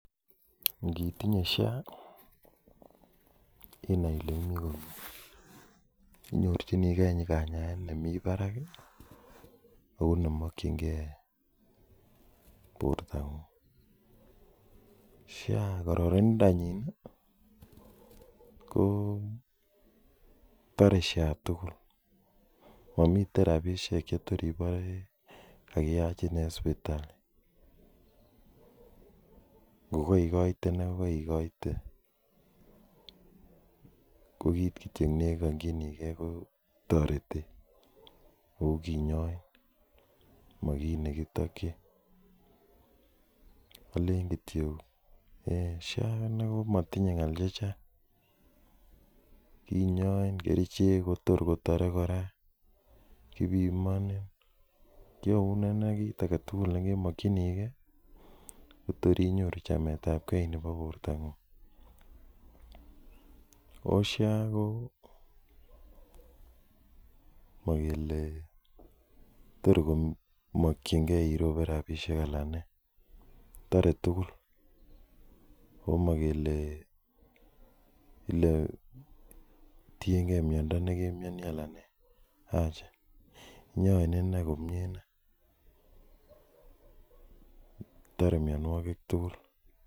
Initinye sha inaiile imii komie inyorchingee kanyaet nemii barak kou nemokyin gee borto ngung sha kokararindonyin kotore sha tugul komiten tuguk chetogor ibore kakiyachin rapisiek alaktugul en sipitali ago yekaigoite ko kaigoite kokiit nekongjinigee kotoretet ago kinyoin mokiit nebkitokyin olen kityok sha komatinye ngal chechang kinyoin kerichek kotor kotore kora kinyoin kiyaun kiit agetugul nemokyinigee kotorinyoru chametab gee nebo bortangung ago sha komagele torkomokyingee iroch gee rabinik alak toretugul ago makele letienge miondo negetinye anan nee acha inyoin komie inei toremianwakik tugul